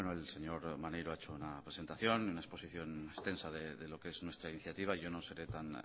el señor maneiro ha hecho una presentación una exposición extensa de lo que es nuestra iniciativa yo no seré tan